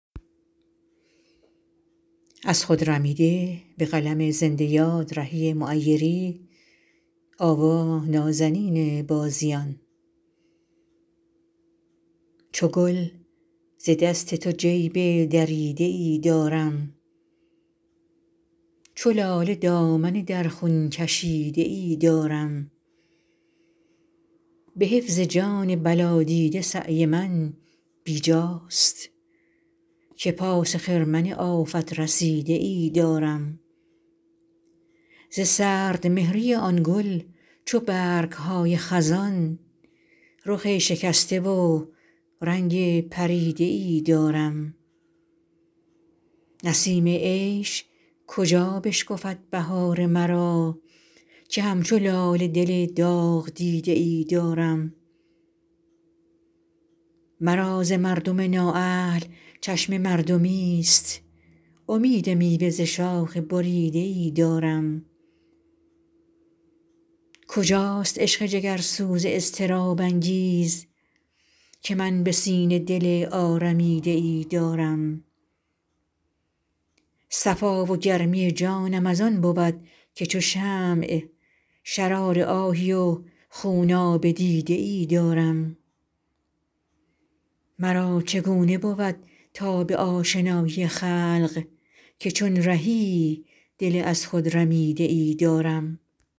چو گل ز دست تو جیب دریده ای دارم چو لاله دامن در خون کشیده ای دارم به حفظ جان بلا دیده سعی من بی جاست که پاس خرمن آفت رسیده ای دارم ز سردمهری آن گل چو برگ های خزان رخ شکسته و رنگ پریده ای دارم نسیم عشق کجا بشکفد بهار مرا که همچو لاله دل داغ دیده ای دارم مرا ز مردم نااهل چشم مردمی است امید میوه ز شاخ بریده ای دارم کجاست عشق جگرسوز اضطراب انگیز که من به سینه دل آرمیده ای دارم صفا و گرمی جانم از آن بود که چو شمع شرار آهی و خوناب دیده ای دارم مرا چگونه بود تاب آشنایی خلق که چون رهی دل از خود رمیده ای دارم